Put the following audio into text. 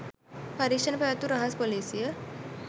පරීක්‍ෂණ පැවැත්වූ රහස්‌ පොලිසිය